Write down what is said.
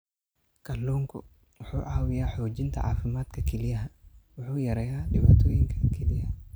Kalluunku wuxuu caawiyaa xoojinta caafimaadka kelyaha wuxuuna yareeyaa dhibaatooyinka kelyaha.